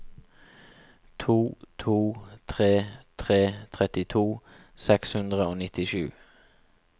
to to tre tre trettito seks hundre og nittisju